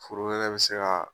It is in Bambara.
Foro wɛrɛ bɛ se kaa